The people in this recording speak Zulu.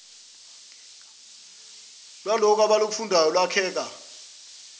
lwalokhu abakufundayo lwakheka